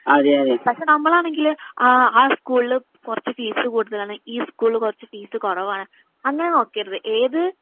പക്ഷെ നമ്മളാണെങ്കില് ആ ആ സ്കൂളില് കുറച്ചു ഫീസ് കൂടുതലാണ് ഈ സ്കൂളില് കൊറച്ചു ഫീസ് കുറവാണു അങ്ങനെ നോക്കരുത് ഏത്‌